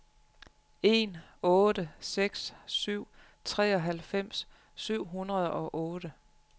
en otte seks syv treoghalvfems syv hundrede og otte